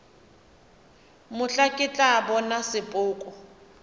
mohla ke tla bona sepoko